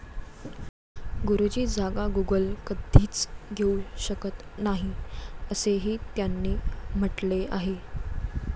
गुरुची जागा गुगल कधीच घेऊ शकत नाही, असेही त्यांनी म्हटले आहे.